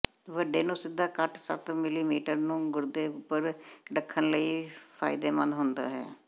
ਵੱਡੇ ਨੂੰ ਸਿੱਧਾ ਕੱਟ ਸੱਤ ਮਿਲੀਮੀਟਰ ਨੂੰ ਗੁਰਦੇ ਉਪਰ ਰੱਖਣ ਲਈ ਫਾਇਦੇਮੰਦ ਹੁੰਦਾ ਹੈ